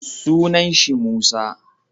Suna shi Musa